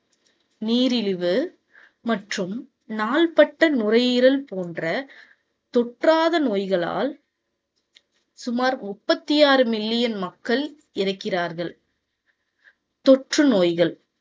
நீரிழிவு மற்றும் நாள்பட்ட நுரையீரல் போன்ற தொற்றாத நோய்களால் சுமார் முப்பத்தி ஆறு மில்லியன் மக்கள் இறக்கிறார்கள். தொற்று நோய்கள்